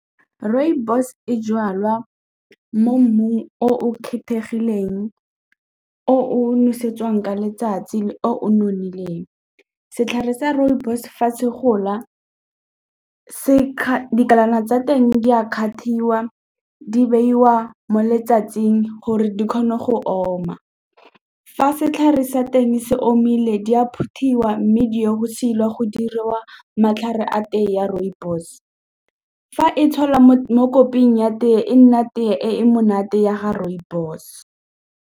Rooibos e jalwa mo mmung o o kgethegileng, o o nosetsang ka letsatsi le o nonofileng. Setlhare sa rooibos fa se gola se tsa teng di a kgathiwa di beiwa mo letsatsing gore di kgone go oma. Fa setlhare sa teng se omile di a phuthelwa mme di ya go silwa go diriwa matlhare a tee ya rooibos. Fa e tshelwa mo koping ya tee e nna tee e monate ya ga rooibos.